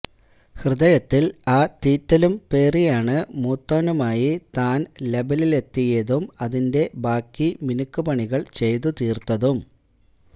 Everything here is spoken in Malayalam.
ഹൃദയത്തിൽ ആ തീറ്റലും പേറിയാണ് മുത്തോനുമായി താൻ ലബിലെത്തിയതും അതിന്റെ ബാക്കി മിനുക്ക് പണികൾ ചെയ്തു തീർത്തതും